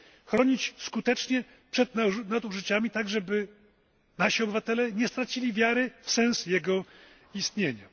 Chronić skutecznie przed nadużyciami, tak żeby nasi obywatele nie stracili wiary w sens jego istnienia.